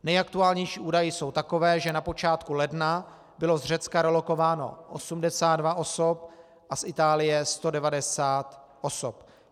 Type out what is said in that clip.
Nejaktuálnější údaje jsou takové, že na počátku ledna bylo z Řecka relokováno 82 osob a z Itálie 190 osob.